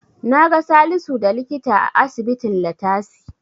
Naga Salisu da likita a asibitin Ilatasi.